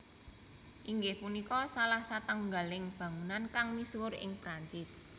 Inggih punika salah satunggaling bangunan kang misuwur ing Perancis